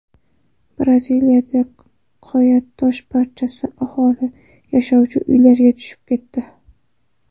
Braziliyada qoyatosh parchasi aholi yashovchi uylarga tushib ketdi.